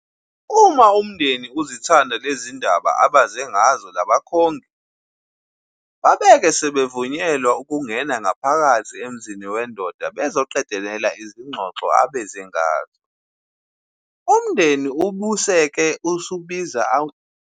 Uma umndeni uzithanda lezindaba abeze ngazo labakhongi, babeke sebemvunyelwa ukungena ngaphakhathi emzini wendoda bezoqedela izingxoxo abezengazo. Umdeni ubeseke ubiza izintombi zomdeni bacele ukuba abakhongi bakhombe intombi abezengayo.